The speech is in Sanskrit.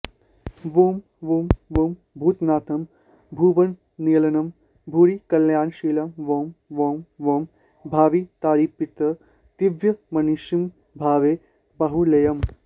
वुं वुं वुं भूतनाथं भुवननिलयनं भूरिकल्याणशीलं वौं वौं वौं भावितारिप्रतिभयमनिशं भावये बाहुलेयम्